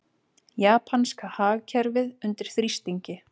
Japanska hagkerfið undir þrýstingi